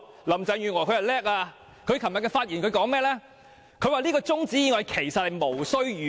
林鄭月娥很厲害，她昨天發言時說，中止待續議案其實無須預告。